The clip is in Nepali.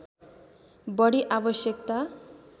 बढी आवश्यकता